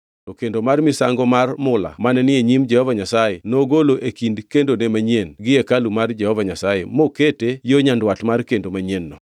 To kendo mar misango mar mula mane ni e nyim Jehova Nyasaye nogolo e kind kendone manyien gi hekalu mar Jehova Nyasaye mokete yo nyandwat mar kendo manyien-no.